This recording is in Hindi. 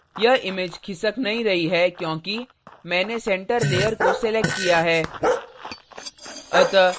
यह image खिसक नहीं रही है क्योंकि मैंने center layer को selected किया है